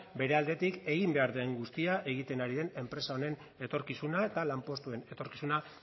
bere aldetik egin behar den guztia egiten ari den enpresa honen etorkizuna eta lanpostuen etorkizuna